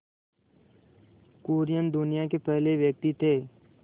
कुरियन दुनिया के पहले व्यक्ति थे